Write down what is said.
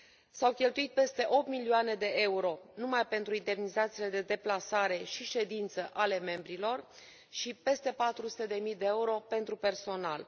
S au cheltuit peste 8 milioane de euro numai pentru indemnizațiile de deplasare și ședință ale membrilor și peste 400 de mii de euro pentru personal.